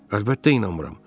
Əlbəttə inanmıram.